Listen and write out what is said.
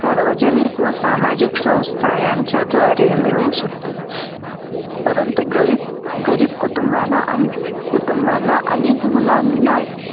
सार्वजनिक व सामाजिक संस्था यांच्याद्वारे मिळू शकते. परंतु गरीब कुटुंबाना अं कुटुंबांना अनेक मूलांना